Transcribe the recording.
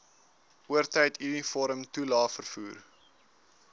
oortyd uniformtoelae vervoer